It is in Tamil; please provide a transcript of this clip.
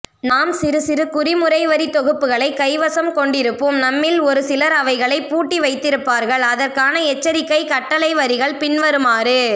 நாம் சிறுசிறு குறிமுறைவரிதொகுப்புகளை கைவசம் கொண்டிருப்போம் நம்மில்ஒருசிலர் அவைகளை பூட்டிவைத்திருப்பார்கள் அதற்கான எச்சரிக்கை கட்டளைவரிகள் பின்வருமாறு